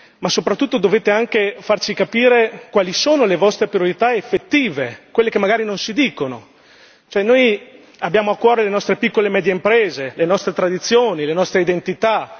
Ma, soprattutto, dovete anche farci capire quali sono le vostre priorità effettive, quelle che magari non si dicono cioè, noi abbiamo a cuore le nostre piccole e medie imprese, le nostre tradizioni, le nostre identità